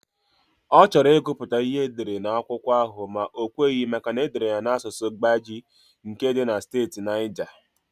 Ọ chọrọ ịgụ pụta ịhe edere akwụkwọ ahụ ma o kweghị maka na edere ya n'asụsụ Gbagyi nke dị na steeti Naija.